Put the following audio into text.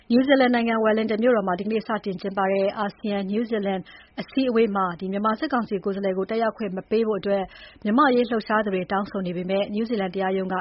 နယူးဇီလန် နိုင်ငံ Wellington မြို့တော်မှာ ဒီနေ့ စတင် ကျင်းပတဲ့ အာဆီယံ-နယူးဇီလန် အစည်းအဝေးမှာ မြန်မာစစ်ကောင်စီ ကိုယ်စားလှယ်ကို တက်ရောက်ခွင့် မပေးဖို့ မြန်မာ့အရေးလှုပ်ရှားသူတွေ တောင်းဆိုပေမဲ့ နယူးဇီလန် တရားရုံးက